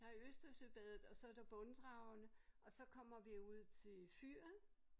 Der Østersøbadet og så der Brunddragene og så kommer vi ud til fyret